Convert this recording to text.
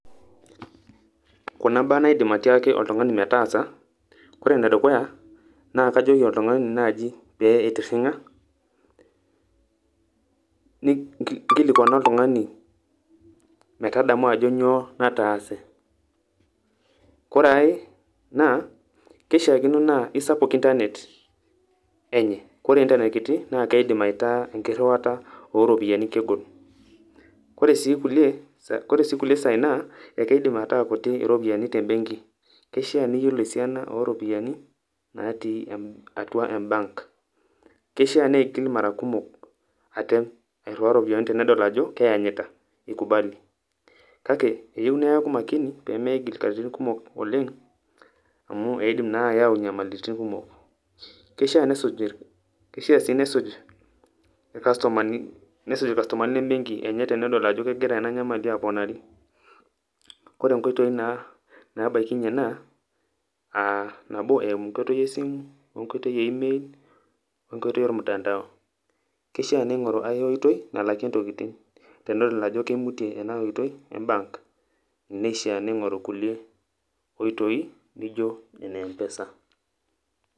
Kuna mbaa naidim atiaaki oltung'ani metaasa, kore nedukuya naa kajoki oltungani naji pee eitirring'a, nkilikuana oltungani metadamu ajo nyoo nataase. Koreai, naa keishakino naa eisapuk  intanet enye, kore intanet kiti naakeidim aitaa enkirruata ooropiyani kegol. Kore sii kulie, kore sii kulie saai naa eikidim ataa kuti iropiyani te benki keishiaa niyolo siana oropiyani natii atua embank. Keishiaa neigil mara kumok atem arruaya ropiyani tenedol ajo keanyita  eikubali. Kake eyou neaku makini peemeigil katitin kumok oleng amu eidim naa ayau nyamalitin kumok. Keishiaa nesuj, keishiaa sii nesuj ilkastomani, nesuj ilkastomani lembenki enye tenedol ajo kegira ena nyamali aponari. Kore nkoitoi naa nabaikinye enaa aah nabo enkoitoi esimu oenkoitoi e  email oenkoitoi olmutandao. Keishiaa neing'oru ai oitoi nalakie ntokitin tenedol ajo keimutie ena oitoi embank neishiaa neing'oru kulie oitoi nijo ene empesa.